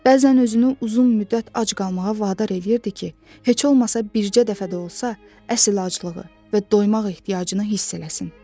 Bəzən özünü uzun müddət ac qalmağa vadar eləyirdi ki, heç olmasa bircə dəfə də olsa əsil aclığı və doymaq ehtiyacını hiss eləsin.